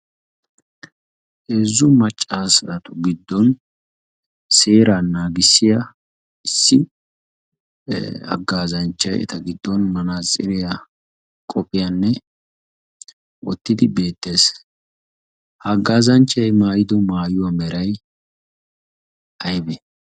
heezzu maccasatu giddon seera naagissiya issi haggaazanchchay eta giddon manaaasiriyaa qopphiyaanne oottidi beettees. haaggaazanchchay maayido maayuwaa meray aybe?